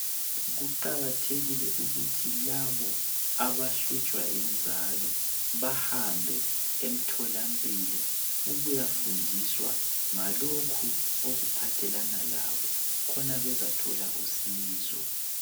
Kuqakathekile ukuthi labo abahlutshwa yinzalo bahambe emtholampilo ukuyafundiswa ngalokho okuphathelana labo khona bezathola usizo.